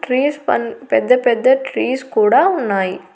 Trees పన్ పెద్ద పెద్ద ట్రీస్ కూడా ఉన్నాయి.